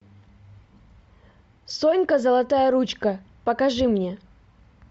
сонька золотая ручка покажи мне